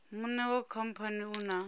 muṋe wa khamphani u na